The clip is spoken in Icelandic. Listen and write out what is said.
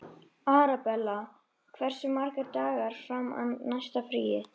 Arabella, hversu margir dagar fram að næsta fríi?